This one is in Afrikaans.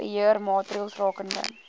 beheer maatreëls rakende